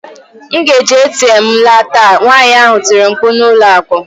M ga-eji ATM m ala taa! nwanyị ahụ tiri mkpu n'ụlọ akụ.